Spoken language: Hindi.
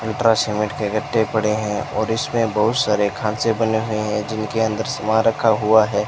अल्ट्रा सीमेंट के गट्टे पड़े हैं और इसमें बहुत सारे खांचे बने हुए हैं जिनके अंदर सामान रखा हुआ है।